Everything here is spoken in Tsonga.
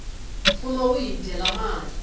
fumo wu hi dyela mali